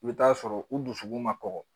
I bɛ taa sɔrɔ u dusukun ma kɔgɔ